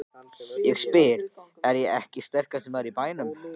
Ég spyr: Er ég ekki sterkasti maður í bænum?